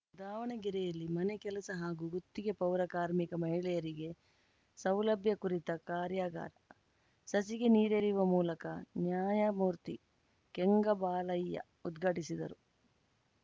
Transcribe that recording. ದಾವಣಗೆರೆಯಲ್ಲಿ ಮನೆ ಕೆಲಸ ಹಾಗೂ ಗುತ್ತಿಗೆ ಪೌರ ಕಾರ್ಮಿಕ ಮಹಿಳೆಯರಿಗೆ ಸೌಲಭ್ಯ ಕುರಿತ ಕಾರ್ಯಾಗಾರ ಸಸಿಗೆ ನೀರೆರೆಯುವ ಮೂಲಕ ನ್ಯಾಯಮೂರ್ತಿಕೆಂಗಬಾಲಯ್ಯ ಉದ್ಘಾಟಿಸಿದರು